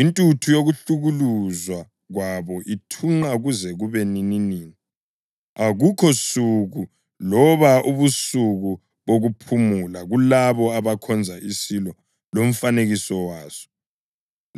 Intuthu yokuhlukuluzwa kwabo ithunqa kuze kube nininini. Akukho suku loba ubusuku bokuphumula kulabo abakhonza isilo lomfanekiso waso